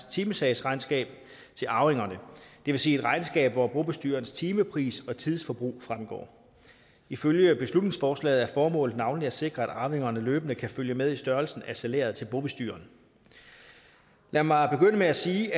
timesagsregnskab til arvingerne det vil sige et regnskab hvor bobestyrerens timepris og tidsforbrug fremgår ifølge beslutningsforslaget er formålet navnlig at sikre at arvingerne løbende kan følge med i størrelsen af salæret til bobestyreren lad mig begynde med at sige